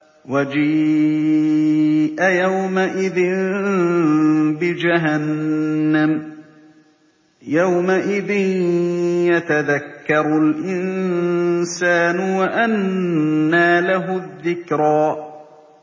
وَجِيءَ يَوْمَئِذٍ بِجَهَنَّمَ ۚ يَوْمَئِذٍ يَتَذَكَّرُ الْإِنسَانُ وَأَنَّىٰ لَهُ الذِّكْرَىٰ